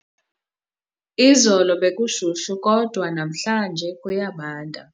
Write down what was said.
Izolo bekushushu kodwa namhlanje kuyabanda.